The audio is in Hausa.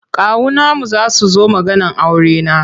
Kawunanmu za su zo maganar aurena.